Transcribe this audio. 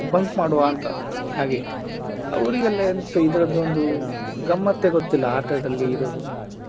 Bunk ಮಾಡುವ ಅಂತ ಹಾಗೆ ಅವ್ರಿಗೆಲ್ಲ ಎಂತ ಇದ್ರದ್ದು ಒಂದು ಗಮ್ಮತ್ತೇ ಗೊತ್ತಿಲ್ಲ ಆಟದಲ್ಲಿ ಇರೋದು.